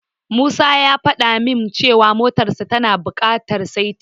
Musa ya fada min cewa motarsa tana bukatar saiti.